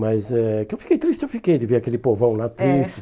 Mas é que eu fiquei triste, eu fiquei de ver aquele povão lá triste. É